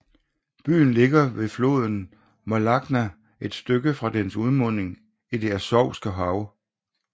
Byen ligger ved floden Molochna et stykke fra dens udmunding i Det Azovske Hav